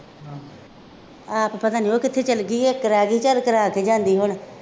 ਆਪ ਪਤਾ ਨਹੀਂ ਉਹ ਕਿੱਥੇ ਚੱਲ ਗਈ ਆ, ਕਰਾ ਗਈ ਚੱਲ ਕਰਾ ਕੇ ਜਾਂਦੀ ਹੁਣ